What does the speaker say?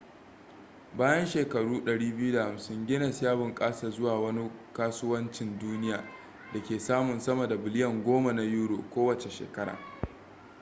bayan shekaru 250 guinness ya bunƙasa zuwa wani kasuwancin duniya da ke samun sama da biliyan 10 na euro us$14.7 biliyan kowace shekara